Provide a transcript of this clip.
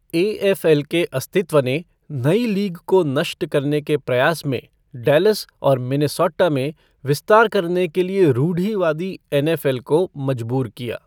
AFL. के अस्तित्व ने नई लीग को नष्ट करने के प्रयास में डैलस और मिनेसोटा में विस्तार करने के लिए रूढ़िवादी एन एफ एल को मजबूर किया।